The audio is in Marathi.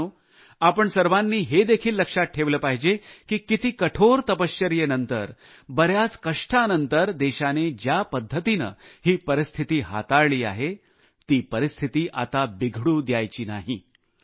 मित्रांनो आपण सर्वांनी हेदेखील लक्षात ठेवले पाहिजे की किती कठोर तपश्चर्येनंतर बऱ्याच कष्टानंतर देशाने ज्या पद्धतीने ही परिस्थिती सांभाळली आहे ती परिस्थिती आता बिघडू द्यायची नाही